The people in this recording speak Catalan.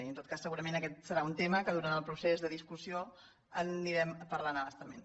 i en tot cas segurament aquest serà un tema que durant el procés de discussió anirem parlant a bastament